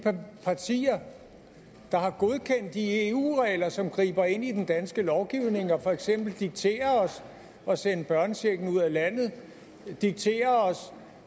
partier der har godkendt de eu regler som griber ind i den danske lovgivning og for eksempel dikterer os at sende børnechecken ud af landet dikterer os